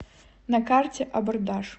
на карте абордаж